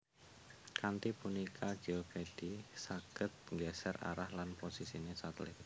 Kanthi punika Geovedi saged nggeser arah lan posisine satelit